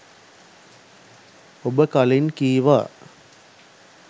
ඔබ කලින් කීවා